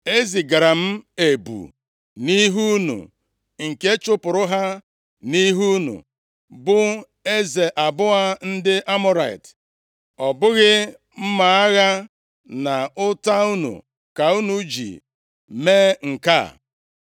E zigara m ebu nʼihu unu nke chụpụrụ ha nʼihu unu, bụ eze abụọ ndị Amọrait. Ọ bụghị mma agha na ụta unu ka unu ji mee nke a.